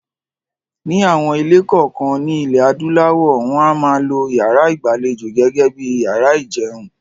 Ni àwọn ilé kọ̀ọ̀kan ní ilẹ̀ adúláwọ̀, wọn a máa lo yàrá ìgbàlejò gẹ́gẹ́ bíi yàrá ìjẹun.